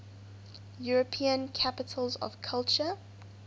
european capitals of culture